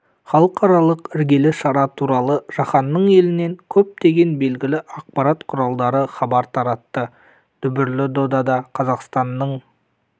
халықаралық іргелі шара туралы жаһанның елінен көптеген белгілі ақпарат құралдары хабар таратты дүбірлі додада қазақстанның